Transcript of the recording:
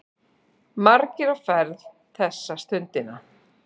Margir á ferð þessa stundina.